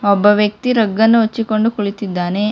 ಒಬ್ಬ ವ್ಯಕ್ತಿ ರಗ್ ಅನ್ನು ಹೊಚ್ಚಿಕೊಂಡು ಕುಳಿತ್ತಿದ್ದಾನೆ.